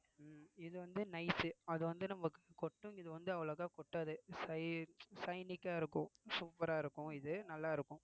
உம் இது வந்து nice அது வந்து நமக்கு கொட்டும் இது வந்து அவ்வளோக்கா கொட்டாது shi~ ஆ இருக்கும் super ஆ இருக்கும் இது நல்லா இருக்கும்